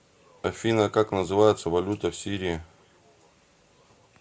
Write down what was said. афина как называется валюта в сирии